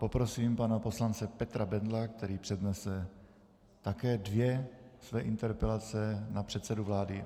Poprosím pana poslance Petra Bendla, který přednese také dvě své interpelace na předsedu vlády.